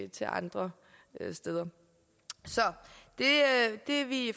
til andre steder så det vi